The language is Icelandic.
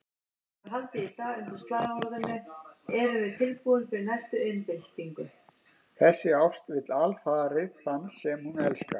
Þessi ást vill alfarið þann sem hún elskar.